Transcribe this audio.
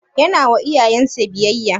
Yana wa iyayen sa biyayya?